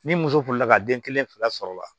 Ni muso furula ka den kelen fila sɔrɔ la